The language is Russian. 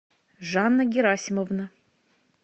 жанна герасимовна